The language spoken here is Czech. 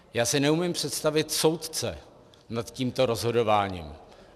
Já si neumím představit soudce nad tímto rozhodováním.